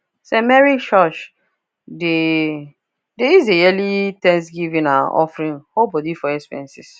st mary church dey dey use the yearly thanksgiving and offering hold body for expenses